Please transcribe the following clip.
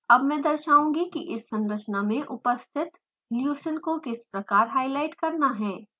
अब मैं दर्शाउंगी कि इस संरचना में उपस्थित leucine को किस प्रकार हाईलाइट करना है